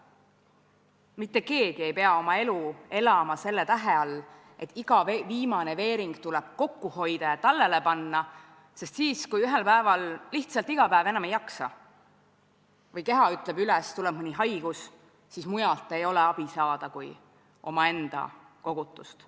Mitte keegi ei pea oma elu elama selle tähe all, et iga viimane kui veering tuleb kokku hoida ja tallele panna, sest kui ühel päeval lihtsalt iga päev enam ei jaksa või keha ütleb üles, tuleb mõni haigus, siis ei ole mujalt abi saada kui omaenda kogutust.